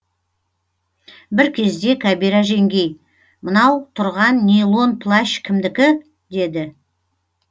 бір кезде кәбира жеңгей мынау тұрған нейлон плащ кімдікі деді